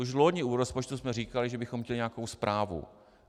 Už loni u rozpočtu jsme říkali, že bychom chtěli nějakou zprávu.